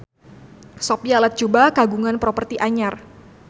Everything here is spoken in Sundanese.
Sophia Latjuba kagungan properti anyar